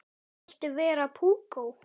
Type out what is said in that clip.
Viltu vera púkó?